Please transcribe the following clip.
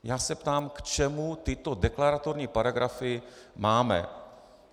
Já se ptám, k čemu tyto deklaratorní paragrafy máme.